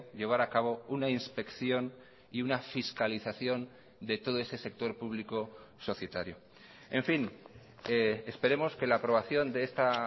llevar a cabo una inspección y una fiscalización de todo ese sector público societario en fin esperemos que la aprobación de esta